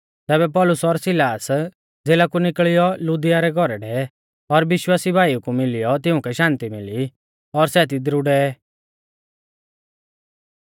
तैबै पौलुस और सिलास ज़ेला कु निकल़ियौ लुदिया रै घौरै डेवै और विश्वासी भाईऊ कु मिलियौ तिउंकै शान्ति मिली और सै तिदरु डेवै